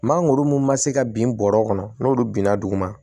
Mangoro mun ma se ka bin bɔrɔ kɔnɔ n'olu binna duguma